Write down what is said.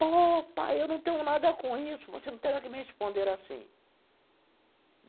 Pô, pai, eu não tenho nada com isso, você não tem nada que me responder assim.